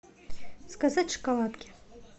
заказать шоколадки